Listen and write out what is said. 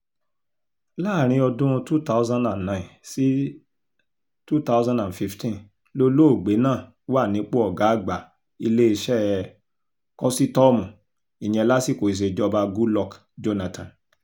láàrin ọdún two thousand nine sí twenty fifteen lolóògbé náà wà nípò ọ̀gá àgbà iléeṣẹ́ kọ́sítọ́ọ̀mù ìyẹn lásìkò ìṣèjọba goodluck jonathan